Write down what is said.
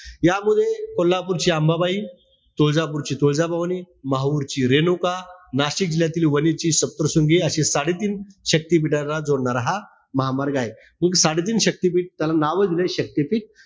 यामध्ये कोल्हापूरची अंबाबाई, तुळजापूरची तुळजा भवानी, माहूरची रेणुका, नाशिक येथील वणीची सप्तशृंगी अशी साडेतीन शक्तिपीठानं जोडणारा हा महामार्ग आहे. साडेतीन शक्तीपीठ त्याला नाव दिलय शक्तीपीठ.